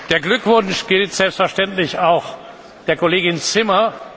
Der Glückwunsch gilt selbstverständlich auch der Kollegin Zimmer.